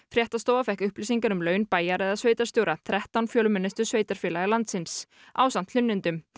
fréttastofa fékk upplýsingar um laun bæjar eða sveitarstjóra þrettán fjölmennustu sveitarfélaga landsins ásamt hlunnindum